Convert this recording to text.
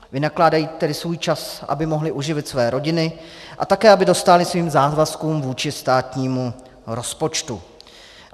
Vynakládají tedy svůj čas, aby mohli uživit své rodiny a také aby dostáli svým závazkům vůči státnímu rozpočtu.